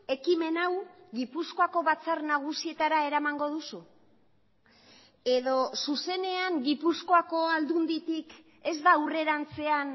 ekimen hau gipuzkoako batzar nagusietara eramango duzu edo zuzenean gipuzkoako aldunditik ez da aurrerantzean